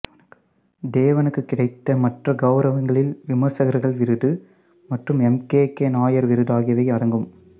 தேவனுக்கு கிடைத்த மற்ற கௌரவங்களில் விமர்சகர்கள் விருது மற்றும் எம் கே கே நாயர் விருது ஆகியவை அடங்கும்